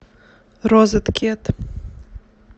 розеткед